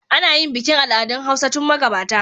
Ana yin bikin al'adun hausa tun magabata